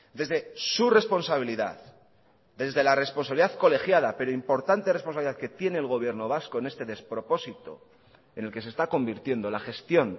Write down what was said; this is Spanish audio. desde su responsabilidad desde la responsabilidad colegiada pero importante responsabilidad que tiene el gobierno vasco en este despropósito en el que se está convirtiendo la gestión